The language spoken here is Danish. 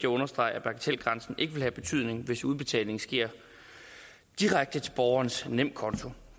understrege at bagatelgrænsen ikke vil have betydning hvis udbetalingen sker direkte til borgerens nemkonto